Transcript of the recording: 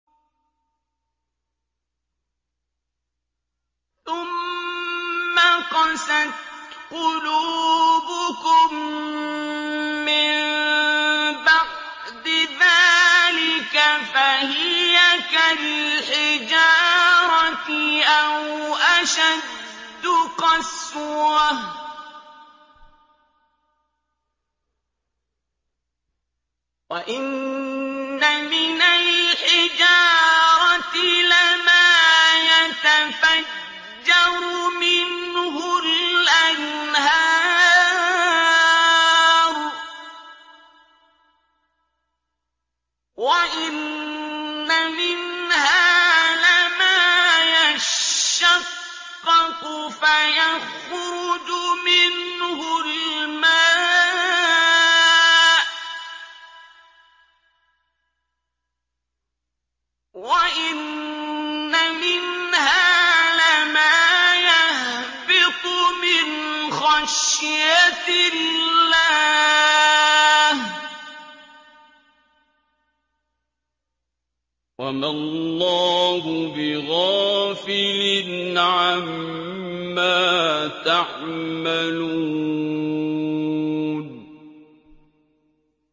ثُمَّ قَسَتْ قُلُوبُكُم مِّن بَعْدِ ذَٰلِكَ فَهِيَ كَالْحِجَارَةِ أَوْ أَشَدُّ قَسْوَةً ۚ وَإِنَّ مِنَ الْحِجَارَةِ لَمَا يَتَفَجَّرُ مِنْهُ الْأَنْهَارُ ۚ وَإِنَّ مِنْهَا لَمَا يَشَّقَّقُ فَيَخْرُجُ مِنْهُ الْمَاءُ ۚ وَإِنَّ مِنْهَا لَمَا يَهْبِطُ مِنْ خَشْيَةِ اللَّهِ ۗ وَمَا اللَّهُ بِغَافِلٍ عَمَّا تَعْمَلُونَ